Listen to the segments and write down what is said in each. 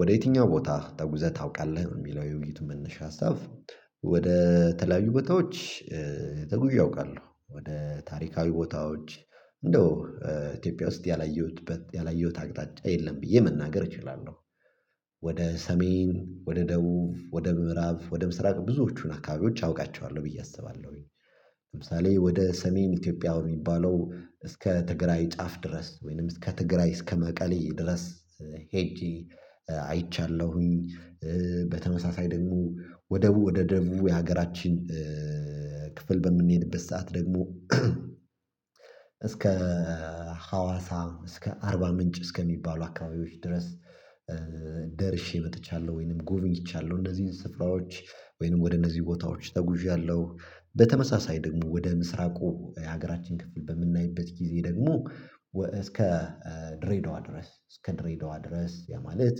ወደ የትኛው ቦታ ተጉዘህ ታውቃለህ የሚለው የውይይቱ መነሻ ሀሳብ? ወደ ተለያዩ ቦታዎች ተጉዝ አውቃሉ። ወደ ታሪካዊ ቦታዎች እንደው ኢትዮጵያ ውስጥ ያላየሁት ያላየሁት አቅጣጫ የለም ብዬ መናገር እችላለሁ። ወደ ሰሜን ወደ ደቡብ ወደ ምዕራብ ወደ ምስራቅ ብዙዎቹን አካባቢዎች አውቃቸዋለሁ ብዬ አስባለሁኝ። ለምሳሌ ወደ ሰሜን ኢትዮጵያ የሚባለው እስከ ትግራይ ጫፍ ድረስ ወይንም እስከ ትግራይ እስከ መቀሌ ድረስ ሄጄ አይቻለሁኝ። በተመሳሳይ ደግሞ ወደ ወደ ደጉ የሀገራችን ክፍል በምንሄድበት ሰዓት ደግሞ እስከ ሀዋሳ እስከ አርባ ምንጭ እስከሚባሉ አካባቢዎች ድረስ ደርሼ መጥቻለሁ ወይንም ጎበኝቻለሁ እነዚህን ስፍራዎች ወይንም ወደ እነዚህ ቦታዎች ተጉዣለሁ። በተመሳሳይ ደግሞ ወደ ምስራቁ የሀገራችን ክፍል በምናይበት ጊዜ ደግሞ እስከ ድሬዳዋ ድረስ እስከ ድሬዳዋ ድረስ ያ ማለት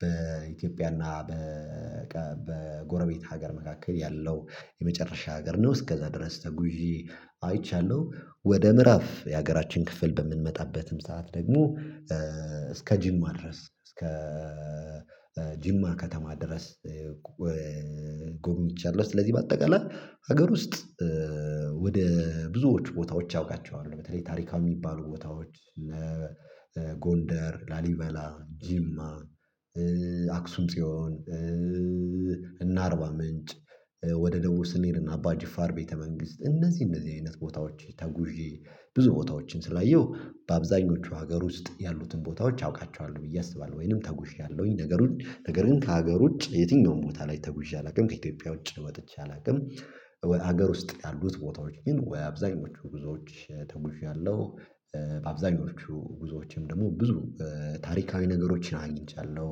በኢትዮጵያና በጎረቤት ሀገር መካከል ያለው የመጨረሻ ሀገር ነው እስከዛ ድረስ ተጉዤ አይቻለሁ። ወደ ምዕራፍ የሀገራችን ክፍል በምንመጣበትም ሰዓት ደግሞ እስከ ጅማ ድረስ እስከ ጅማ ከተማ ድረስ ጎብኝቻለሁኝ። ስለዚህ በአጠቃላይ ሀገር ውስጥ ወደ ብዙዎች ቦታዎች አውቃቸዋለው በተለይ ታሪካዊ የሚባሉ ቦታዎች እነ ጎንደር ላሊበላ ጅማ አክሱም ጽዮን እነ አርባ ምንጭ። ወደ ደቡብ ስንሄድና አባ ጅፋር ቤተ መንግስት እነዚህ እነዚህ አይነት ቦታዎች ተጉዤ ብዙ ቦታዎችን ስላየሁ በአብዛኞቹ ሀገሩ ውስጥ ያሉትን ቦታዎች አውቃቸዋለሁ ብዬ አስባለሁ ወይንም ተጉዣለሁኝ። ነገር ውጪ ነገርን ከሀገር ውጪ የትኛውም ቦታ ላይ ተጉዣ አላውቅም ከኢትዮጵያ ውጪ ወጥቼ አላውቅም። ሀገር ውስጥ ያሉት ቦታዎች ግን ወይ አብዛኞቹ ጉዞዎች ተጉዣለሁ። በአብዛኞቹ ጉዞዎችም ደግሞ ብዙ ታሪካዊ ነገሮችን አግኝቻለሁ።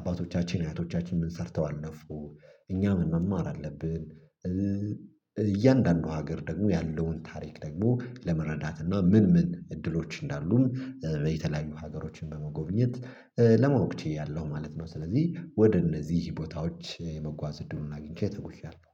አባቶቻችን አያቶቻችን ምን ሰርተው አለፉ እኛ ምን መማር አለብን? እያንዳንዱ ሀገር ደግሞ ያለውን ታሪክ ደግሞ ለመረዳት እና ምን ምን እድሎች እንዳሉም የተለያዩ ሀገሮችን በመጎብኘት ለማወቅ ችያለው ማለት ነው። ስለዚህ ወደ እነዚህ ቦታዎች የመጓዝ እድሉን አግኝቼ ተጉዣለሁ